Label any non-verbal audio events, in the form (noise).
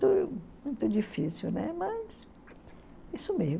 (unintelligible) muito difícil, né, mas...